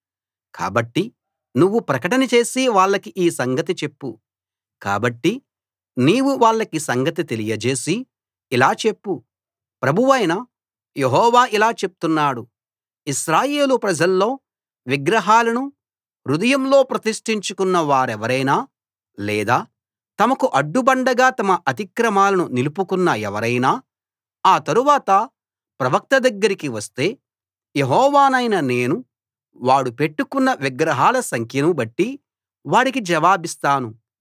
కాబట్టి నువ్వు ప్రకటన చేసి వాళ్లకి ఈ సంగతి చెప్పు కాబట్టి నీవు వాళ్లకి సంగతి తెలియజేసి ఇలా చెప్పు ప్రభువైన యెహోవా ఇలా చెప్తున్నాడు ఇశ్రాయేలు ప్రజల్లో విగ్రహాలను హృదయంలో ప్రతిష్టించుకున్న వారెవరైనా లేదా తమకు అడ్డుబండగా తమ అతిక్రమాలను నిలుపుకున్న ఎవరైనా ఆ తరువాత ప్రవక్త దగ్గరికి వస్తే యెహోవానైన నేను వాడు పెట్టుకున్న విగ్రహాల సంఖ్యను బట్టి వాడికి జవాబిస్తాను